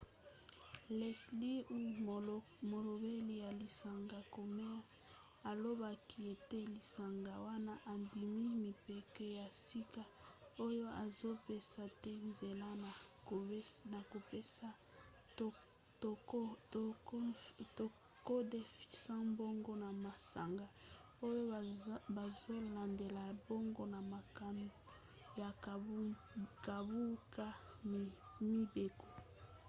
leslie aun molobeli ya lisanga komen alobaki ete lisanga wana endimi mibeko ya sika oyo ezopesa te nzela na kopesa to kodefisa mbongo na masanga oyo bazolandela bango na makambo ya kobuka mibeko